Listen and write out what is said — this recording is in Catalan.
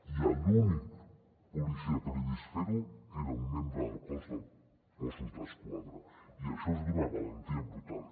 i l’únic policia que l’he vist fer ho era un membre del cos de mossos d’esquadra i això és d’una valentia brutal